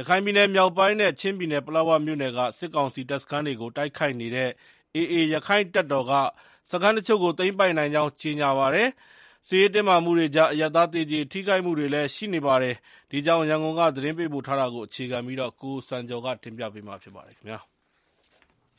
ရခိုင်ပြည်နယ်မြောက်ပိုင်းနဲ့ ချင်းပြည်နယ် ပလက်ဝမြို့နယ်က စစ်ကောင်စီ တပ်စခန်းတွေကို တိုက်ခိုက်နေတဲ့ AA ရက္ခိုင့်တပ်တော်က စခန်းတချို့ကို သိမ်းပိုက်နိုင်ကြောင်း ကြေညာပါတယ်။ စစ်ရေးတင်းမာမှုတွေကြား အရပ်သား သေကျေထိခိုက်မှုတွေလည်း ရှိနေတာပါ။ ဒီအကြောင်း ရန်ကုန်ကသတင်းပေးပို့ ထားတာကို အခြေခံပြီး ကိုစံကျော် တင်ပြထားပါတယ်။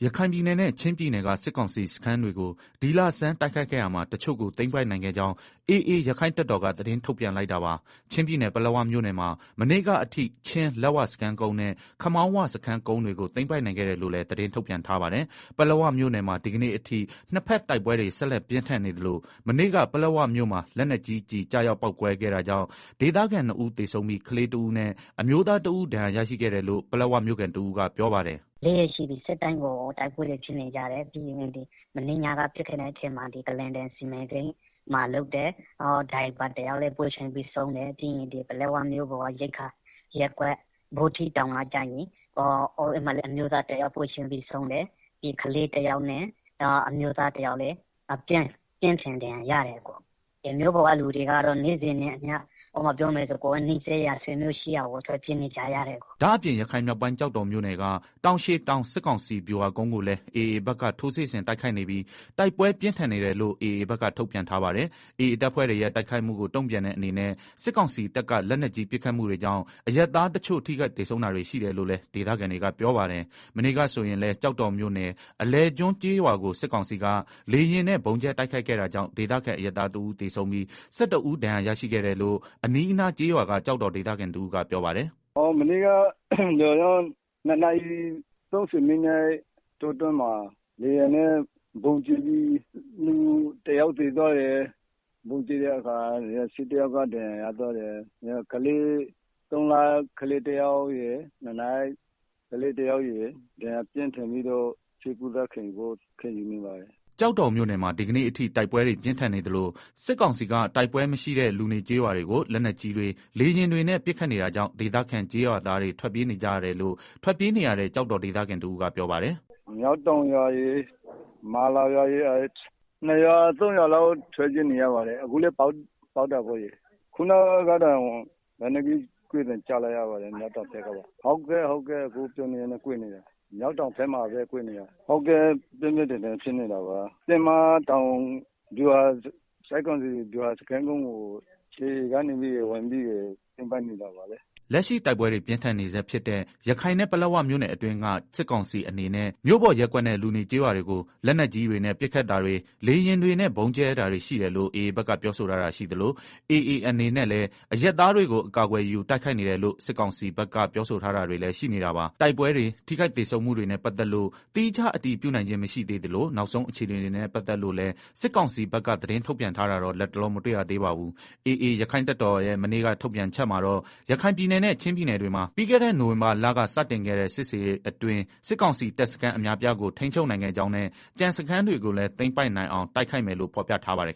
ရခိုင်ပြည်နယ်နဲ့ ချင်းပြည်နယ်က စစ်ကောင်စီစခန်းတွေကို ဒီလဆန်းတိုက်ခိုက်ခဲ့ရာမှာ တချို့ကို သိမ်းပိုက်နိုင်ခဲ့ကြောင်း AAရက္ခိုင့် တပ်တော်က သတင်းထုတ်ပြန်လိုက်တာပါ။ ချင်းပြည်နယ်ပလက်ဝမြို့နယ်မှာ မနေ့ကအထိ ချင်းလက်ဝစခန်းကုန်းနဲ့ ခမောင်းဝစခန်းကုန်းတွေကို သိမ်းပိုက်နိုင်ခဲ့တယ်လို့လည်း သတင်းထုတ်ပြန်ထားပါတယ်။ ပလက်ဝမြို့နယ်မှာ ဒီကနေ့အထိနှစ်ဖက်တိုက်ပွဲတွေ ဆက်လက်ပြင်းထန်နေသလို မနေ့က ပလက်ဝမြို့မှာ လက်နက်ကြီးကျည်ကျရောက်ပေါက်ကွဲခဲ့တာကြောင့် ဒေသခံ နှစ်ဦးသေဆုံးပြီး ကလေးတဦးနဲ့ အမျိုးသားတဦးဒဏ်ရာရတယ်လို့ ပလက်ဝမြို့ခံတဦးကပြောပါတယ်။ “၄ ရက်ရှိပြီနေ့တိုင်းကို တိုက်ပွဲတွေ ဖြစ်နေကြတယ်၊ မနေ့ညက ပစ်ခတ်လိုက်တဲ့ ထဲမှာဒီ ကလားတန်စီမံကိန်းမှာ လုပ်တဲ့ ကားမောင်းသမားတယောက်လည်း ပွဲချင်းပြီးသေသွားတယ်၊ ပြီးတော့ ပလက်ဝ မြို့ပေါ်က ရိက္ခာရပ်ကွက် ဗောဓိတောင်မှာလည်း မျိုးသားတယောက် ပွဲချင်းပြီးဆုံးတယ်၊ နောက် ကလေးတယောက်နဲ့ အမျိုးသားတယောက်လည်း ပြင်းထန်ဒဏ်ရာရတယ်၊ မြို့ပေါ်က လူတွေကတော့ နေ့စဉ်နဲ့ အမျှ နီးစပ်ရာဆွေမျိုးတွေဆီကို ထွက်ပြေးနေကြရတယ်။” ဒါ့အပြင် ရခိုင်မြောက်ပိုင်း ကျောက်တော်မြို့နယ်က တောင်ရှည်တောင် စစ်ကောင်စီဗျူ ဟာကုန်းကိုလည်းAAဘက်က ထိုးစစ်ဆင်တိုက်ခိုက်နေပြီး တိုက်ပွဲပြင်းထန်နေတယ်လို့ AAဘက်က ထုတ်ပြန်ထားပါတယ်။ AA တပ်ဖွဲ့တွေရဲ့ တိုက်ခိုက်မှုကို တုံ့ပြန်တဲ့ အနေနဲ့ စစ်ကောင်စီတပ်က လက်ကြီးပစ်ခတ်မှုတွေကြောင့် အရပ်သားတချို့ ထိခိုက်သေဆုံးတာတွေ ရှိတယ်လို့လည်း ဒေသခံတွေက ပြောပါတယ်။ မနေ့ကဆိုရင်လည်း ကျောက်တော်မြို့နယ် အလယ်ကျွန်းကျေးရွာကို စစ်ကောင်စီက လေယာဉ်နဲ့ ဗုံးကြဲ တိုက်ခိုက်ခဲ့တာကြောင့် ဒေသခံ အရပ်သားတဦးသေဆုံးပြီး ၁၁ဦးဒဏ်ရာရရှိခဲ့တယ်လို့ အနီးအနားကျေးရွာက ကျောက်တော်ဒေသခံ တဦးကပြောပါတယ်။ “ မနေ့က ၂နာရီ ၃ဝမိနစ်လောက်မှာ လေယာဉ်နဲ့ ဗုံးကျဲလို့ လူယောက်သေသွားတယ် ၁၁ယောက်ဒဏ်ရာရတယ်၊ သုံးလကလေးတယောက်နဲ့ ၂နှစ်ကလေးတယောက် ပြင်းပြင်းထန်ထန်ဒဏ်ရာရလို့ ဆေးကုသနေရတယ်။” ကျောက်တော်မြို့နယ်မှာ ဒီကနေ့အထိ တိုက်ပွဲတွေပြင်းထန်နေသလို စစ်ကောင်စီက တိုက်ပွဲမရှိတဲ့ လူနေကျေးရွာတွေကို လက်နက်ကြီးတွေ လေယာဉ်တွေနဲ့ ပစ်ခတ်နေတာကြောင့် ဒေသခံ ကျေးရွာသားတွေ ထွက်ပြေးနေကြရတယ်လို့ ထွက်ပြေးနေရတဲ့ ကျောက်တော်ဒေသခံတဦးကပြောပါတယ်။ “ မျောက်တောင်ရွာရယ် မာလာရွာရယ်၊ ၂ရွာ ၃ရွာလောက်ထွက်ပြေးနေရပါတယ်၊အခုလည်း ပစ်နေတယ်၊ လက်နက်ကြီးကွဲသံကြားနေရတယ်၊ မျောက်တောင်ပစ်နေတာ၊ ပြင်းပြင်းထန်ထန်ဖြစ်နေတာ တင်းမတောင် ဗျူးဟာကုန်းကို AAက တက်သိမ်းနေတာလေ။” လက်ရှိတိုက်ပွဲတွေ ပြင်းထန်နေဆဲဖြစ်တဲ့ ရခိုင်နဲ့ ပလက်ဝမြို့နယ်အတွင်းက စစ်ကောင်စီအနေနဲ့မြို့ပေါ်ရပ်ကွက်နဲ့ လူနေကျေးရွာတွေ လက်နက်ကြီးတွေနဲ့ ပစ်ခတ်တာတွေ လေယာဉ်တွေနဲ့ ဗုံးကြဲတာတွေရှိတယ်လို့ AAဘက်ကပြောဆိုထား တာရှိသလို AAအနေနဲ့ လည်း အရပ်သားတွေကို အကာကွယ်ယူတိုက်ခိုက်နေတယ်လို့ စစ်ကောင်စီဘက် ပြောဆိုထားတာတွေလည်းရှိနေတာပါ။ တိုက်ပွဲဖြစ်တွေ၊ ထိခိုက်သေဆုံးမှုတွေနဲ့ ပတ်သက်လို့ သီးခြားအတည်ပြုနိုင်ခြင်း မရှိသေးသလို နောက်ဆုံးအခြေအနေတွေနဲ့ ပတ်သက်လို့လည်း စစ်ကောင်စီက သတင်းထုတ်ပြန်တာတော့ လတ်တလော မတွေ့ရသေးပါဘူး။ AA ရက္ခိုင့်တပ်တော်ရဲ့ မနေ့က ထုတ်ပြန်ချက်မှာတော့ ရခိုင်ပြည်နယ်နဲ့ ချင်းပြည်နယ်တွေမှာ ပြီးခဲ့တဲ့ နိုဝင်ဘာလက စတင်ခဲ့တဲ့ စစ်ဆင်ရေးအတွင်း စစ်ကောင်စီတပ်စခန်း အများအပြားကို ထိန်းချုပ်နိုင်ခဲ့ကြောင်းနဲ့ ကျန်စခန်းတွေကိုလည်း သိမ်းပိုက်နိုင်အောင် တိုက်ခိုက်မယ်လို့ ဖော်ပြထားပါတယ်